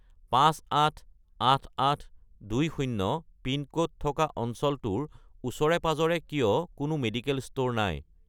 588820 pin code থকা অঞ্চলটোৰ ওচৰে-পাঁজৰে কিয় কোনো মেডিকেল ষ্ট'ৰ নাই?